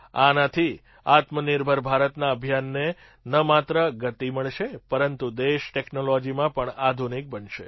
આનાથી આત્મનિર્ભર ભારતના અભિયાનને ન માત્ર ગતિ મળશે પરંતુ દેશ ટૅક્નૉલૉજીમાં પણ આધુનિક બનશે